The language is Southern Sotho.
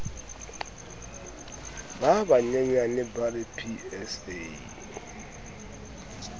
ba banyenyane a re psa